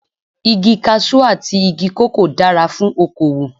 Igi Kaṣú àti igi kòkó dára fún okowò.